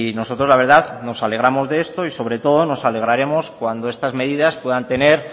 nosotros la verdad nos alegramos de esto y sobre todo nos alegraremos cuando estas medidas puedan tener